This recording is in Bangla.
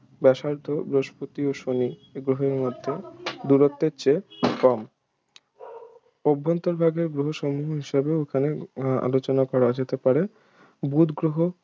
ব্যাসার্ধ্য বৃহস্পতি ও শনি গ্রহের মধ্য দূরত্বের চেয়ে কম অভ্যন্তরভাগের গ্রহসমূহ হিসেবে এখানে আলোচনা করা যেতে পারে বুধ গ্রহ